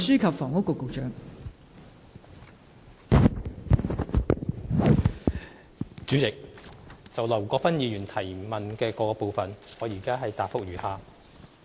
代理主席，就劉國勳議員質詢的各個部分，現答覆如下。